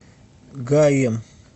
гаем